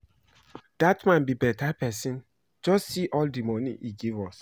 Dat man be beta person, just see all the money he give us